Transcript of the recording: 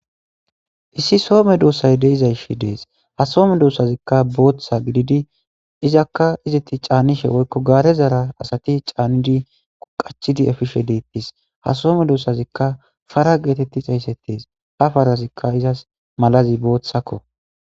issi soome doussay deizayshi dees ha soome duossazikka booththa gididi izakka izetti caanishe woykko gaare zaara asati caannidi quqachidi efishe deettis ha soome duussazikka fara geetetti xeyssettes ha farazikka izas malazi booththakko